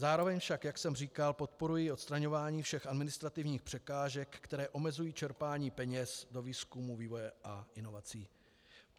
Zároveň však, jak jsem říkal, podporuji odstraňování všech administrativních překážek, které omezují čerpání peněz do výzkumu, vývoje a inovací.